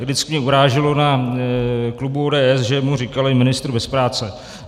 Vždycky mě uráželo na klubu ODS, že mu říkali ministr bez práce.